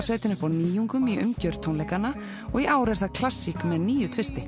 sveitin upp á nýjungum í umgjörð tónleikanna og í ár er það klassík með nýju